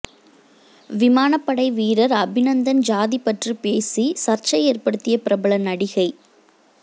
விமானப்படை வீரர் அபிநந்தன் ஜாதி பற்றி பேசி சர்ச்சை ஏற்படுத்திய பிரபல நடிகை